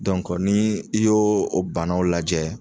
ni i y'o o banaw lajɛ